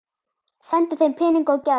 Sendi þeim peninga og gjafir.